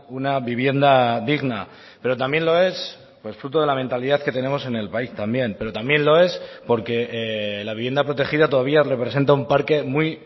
una vivienda digna pero también lo es fruto de la mentalidad que tenemos en el país también pero también lo es porque la vivienda protegida todavía representa un parque muy